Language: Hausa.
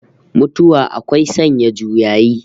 Mutuwa akwai sanya juyayi